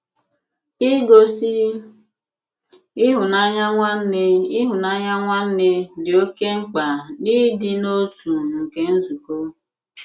Ìgosí ịhụ́nanya nwanne ịhụ́nanya nwanne dị oke mkpa n’ịdị̀ n’otu nke nzùkọ.